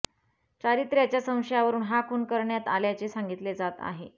चारित्र्याच्या संशयावरुन हा खून करण्यात आल्याचे सांगितले जात आहे